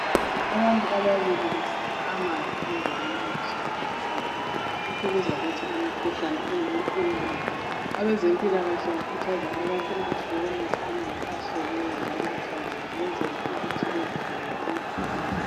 Abantu ababili besikha amanzi endaweni engahlanzekanga. Lokhu kuzaletha imikhuhlane eminengi. Abezempilakahle bakhuthaza abantu ukuthi bebonatha amanzi ahloliweyo njalo ahlanzekileyo ukwenzela ukuthi bezivikele emikhuhlaneni.